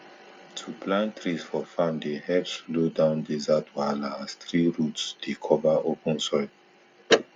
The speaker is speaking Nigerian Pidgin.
to plant trees for farm dey help slow down desert wahala as tree root dey cover open soil